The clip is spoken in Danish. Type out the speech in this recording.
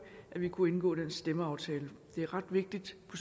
kunne indgå den stemmeaftale det er ret vigtigt på